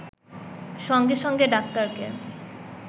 সঙ্গে সঙ্গে ডাক্তারকে